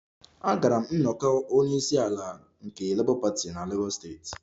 Agara m nnọkọ onye isi ala nke Labour party na Lagos steeti